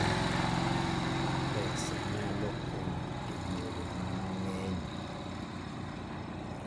Pesa nyalo konyo e yore mang'eny.